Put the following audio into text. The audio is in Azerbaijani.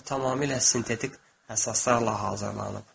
O tamamilə sintetik əsaslarla hazırlanıb.